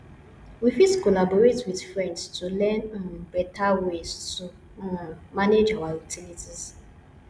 we fit collaborate with friends to learn um beta ways to um manage our utilities